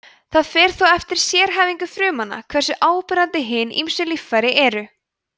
það fer þó eftir sérhæfingu frumnanna hversu áberandi hin ýmsu líffæri eru